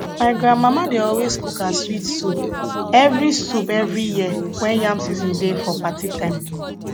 my grandmama dey always cook her sweet soup every soup every year when yam season dey for party time